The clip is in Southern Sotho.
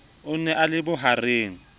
o ne a le bohareng